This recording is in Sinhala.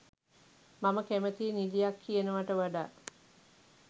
මම කැමැතියි නිළියක් කියනවට වඩා